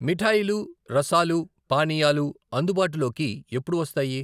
మిఠాయిలు, రసాలు, పానీయాలు అందుబాటులోకి ఎప్పుడు వస్తాయి?